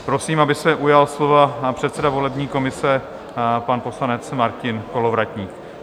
Prosím, aby se ujal slova předseda volební komise, pan poslanec Martin Kolovratník.